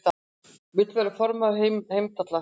Vill verða formaður Heimdallar